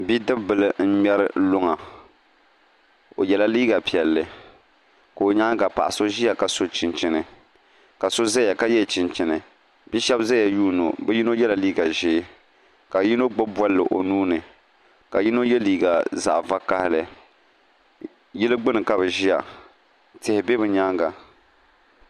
Bidib bili n ŋmɛri luŋa o yɛla liiga piɛlli ka o nyaanga paɣa so ʒiya ka so chinchini ka so ʒɛya ka yɛ chinchini bia shab ƶɛya yuundi o bi yino yɛla liiga ʒiɛ ka yino gbubi bolli o nuuni ka yino yɛ liiga zaɣ vakaɣali yili gbuni ka bi ƶiya tihi bɛ bi nyaanga